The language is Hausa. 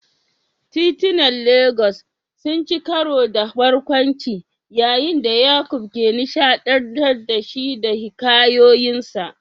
Titunan Legas sun ci karo da barkwanci yayin da Yaqub ke nishaɗantar da shi da hikayoyinsa.